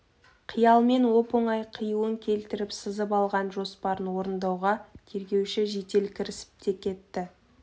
қиялмен оп-оңай қиюын келтіріп сызып алған жоспарын орындауға тергеуші жедел кірісіп те кетті